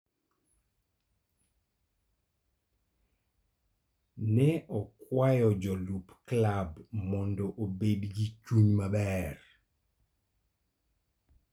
Ne okwayo jolup klab mondo obed gi chuny maber.